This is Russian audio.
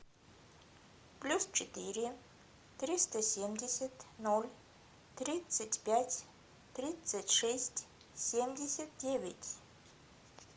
плюс четыре триста семьдесят ноль тридцать пять тридцать шесть семьдесят девять